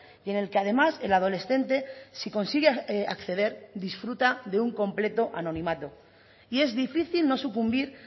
y en el que además el adolescente si consigue acceder disfruta de un completo anonimato y es difícil no sucumbir